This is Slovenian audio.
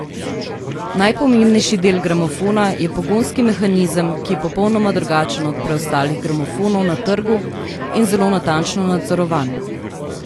Najpomembnejši del gramofona je pogonski mehanizem, ki je popolnoma drugačen od preostalih gramofonov na trgu in zelo natančno nadzorovan.